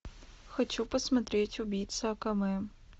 хочу посмотреть убийца акаме